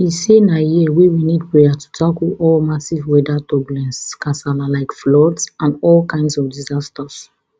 e say na year wey we need prayer to tackle all massive weather turbulence kasala like floods and all kinds of disasters